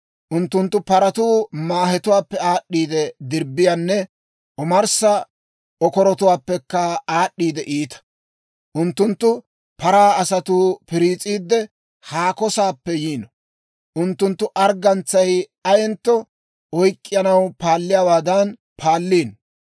Unttunttu paratuu maahetuwaappekka aad'd'eedda dirbbiyaanne omarssa okoratuwaappekka aad'd'eedda iita. Unttunttu paraa asatuu piriis'iidde, haako saappe yiino; unttunttu arggantsay ayentto oyk'k'anaw paalliyaawaadan paalliino.